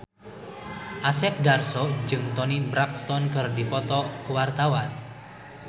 Asep Darso jeung Toni Brexton keur dipoto ku wartawan